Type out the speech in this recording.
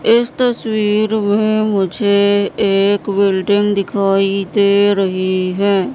इस तस्वीर में मुझे एक बिल्डिंग दिखाई दे रही है।